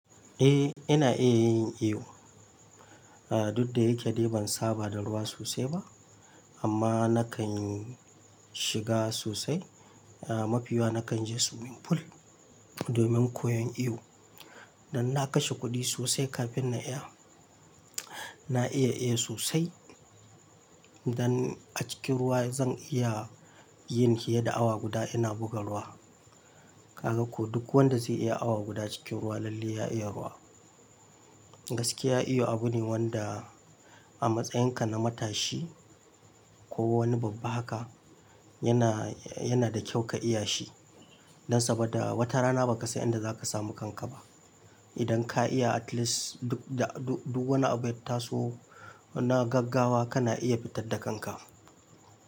Eh ina iya yin iyo. Ah duk da yake ban saba da ruwa sosai ba amma nakan shiga sosai. Ah mafi yawa nakan je swimming pool domin koyon iyo. Dan na kashe kuɗi sosai kafin na iya. Na iya iya sosai. Dan a cikin ruwa zan iya yin hiye da awa guda ina buga ruwa. Kaga ko duk wanda zai iya awa guda cikin ruwa lalle ya iya ruwa. Gaskiya iyo abu ne wanda a matsayinka na matashi ko wani babba haka yana, yana da kyau ka iya shi. Dan saboda wata rana ba ka san inda za ka samu kanka ba. Idan ka iya at least duk da, duk duk wani abu ya taso na gaggawa kana iya fitar da kanka.